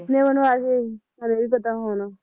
ਕੀਨੇ ਬਣਵਾਇਆ ਸੀ ਤੁਹਾਨੂੰ ਇਹ ਵੀ ਪਤਾ ਹੋਣਾ?